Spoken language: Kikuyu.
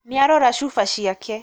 Nĩarora Cuba ciake